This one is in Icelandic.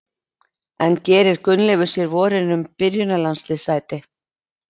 En gerir Gunnleifur sér vonir um byrjunarliðssæti?